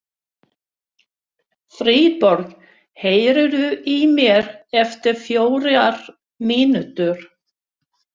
Friðborg, heyrðu í mér eftir fjórar mínútur.